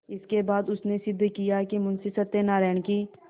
इसके बाद उसने सिद्ध किया कि मुंशी सत्यनारायण की